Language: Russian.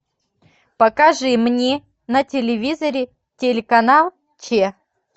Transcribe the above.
покажи мне на телевизоре телеканал че